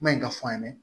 Maɲi ka fɔ an ye